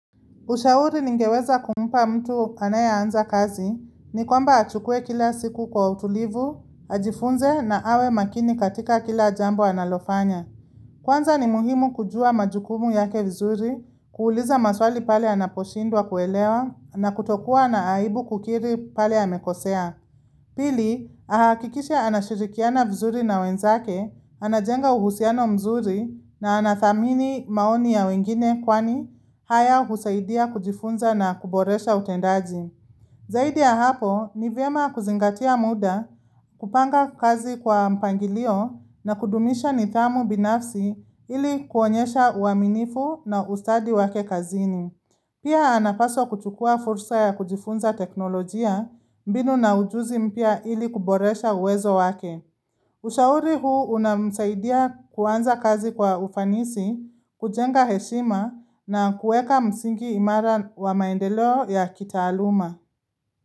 Ushauri ningeweza kumpa mtu anaye anza kazi ni kwamba achukue kila siku kwa utulivu, ajifunze na awe makini katika kila jambo analofanya. Kwanza ni muhimu kujua majukumu yake vizuri, kuuliza maswali pale anaposhindwa kuelewa na kutokuwa na aibu kukiri pale amekosea. Pili, ahakikishae anashirikiana vizuri na wenzake, anajenga uhusiano mzuri na anathamini maoni ya wengine kwani haya husaidia kujifunza na kuboresha utendaji. Zaidi ya hapo, ni vyema kuzingatia muda, kupanga kazi kwa mpangilio na kudumisha nidhamu binafsi ili kuonyesha uaminifu na ustadi wake kazini. Pia anapaswa kuchukua fursa ya kujifunza teknolojia mbinu na ujuzi mpya ili kuboresha uwezo wake. Ushauri huu unamsaidia kuanza kazi kwa ufanisi, kujenga heshima na kueka msingi imara wa maendeleo ya kitaaluma.